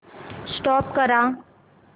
stop करा